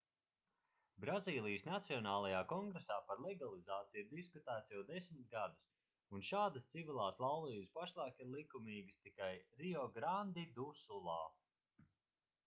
brazīlijas nacionālajā kongresā par legalizāciju ir diskutēts jau 10 gadus un šādas civilās laulības pašlaik ir likumīgas tikai riograndi du sulā